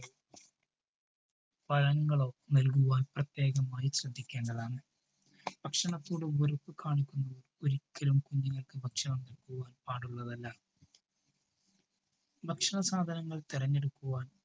പഴങ്ങളോ നൽകുവാൻ പ്രത്യേകമായി ശ്രദ്ധിക്കേണ്ടതാണ്. ഭക്ഷണത്തോട് വെറുപ്പുകാണിക്കുമ്പോൾ കുഞ്ഞുങ്ങൾക്ക് ഒരിക്കലും ഭക്ഷണം നല്‌കുവാൻ പാടുള്ളതല്ല. ഭക്ഷണ സാധനങ്ങൾ തിരഞ്ഞെടുക്കുവാൻ